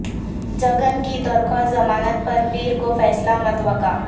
جگن کی درخواست ضمانت پر پیر کو فیصلہ متوقع